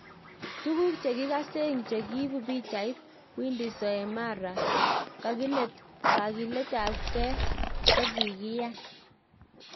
Tuguk che kikaseng chekiipu pichait, WindySoemara kakilet ap nge kokokiyan.